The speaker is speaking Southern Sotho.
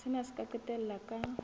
sena se ka qetella ka